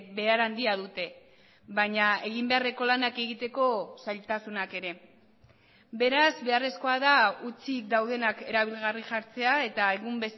behar handia dute baina egin beharreko lanak egiteko zailtasunak ere beraz beharrezkoa da hutsik daudenak erabilgarri jartzea eta egun